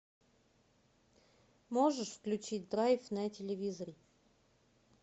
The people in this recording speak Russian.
можешь включить драйв на телевизоре